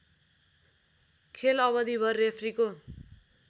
खेल अवधिभर रेफ्रीको